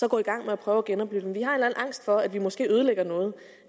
at gå i gang med at prøve at genoplive dem vi har en eller anden angst for at vi måske ødelægger noget